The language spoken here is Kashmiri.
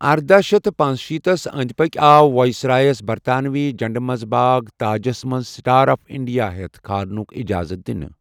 اردہ شیتھ پنشیٖتھ تھٕس اندِِ پكہِ آو وایس رایس برطانوی جھنڈٕ منز باگ تاجس منز'سٹار آف اِنڈِیا ' ہیتھ كھارنٗك اِجازتھ دِنہٕ ۔